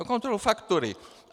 "No, kontroluji faktury."